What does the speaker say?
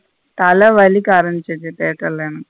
தல வலிக்க ஆரம்பிசிரிச்சி theatre ல எனக்கு.